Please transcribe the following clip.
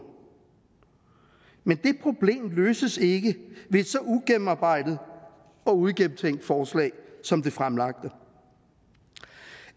men det problem løses ikke ved et så ugennemarbejdet og uigennemtænkt forslag som det fremlagte